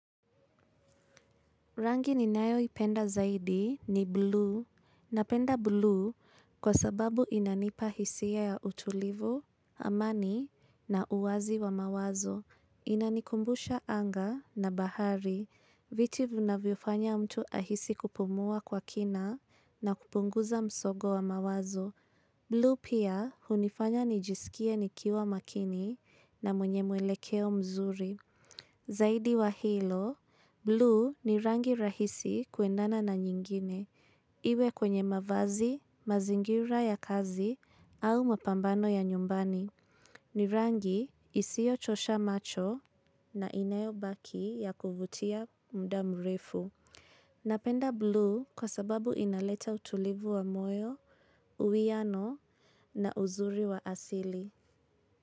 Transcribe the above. Rangi ni nayoipenda zaidi ni blue. Napenda blue kwa sababu inanipa hisia ya utulivu, amani na uwazi wa mawazo. Inanikumbusha anga na bahari. Viti vunavyofanya mtu ahisi kupumua kwa kina na kupunguza msogo wa mawazo. Blue pia hunifanya nijisikia nikiwa makini na mwenye mwelekeo mzuri. Zaidi wa hilo, blue ni rangi rahisi kuendana na nyingine, iwe kwenye mavazi, mazingira ya kazi au mapambano ya nyumbani. Ni rangi isiyochosha macho na inayo baki ya kuvutia mda mrefu. Napenda blue kwa sababu inaleta utulivu wa moyo, uwiano na uzuri wa asili.